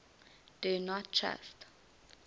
do not trust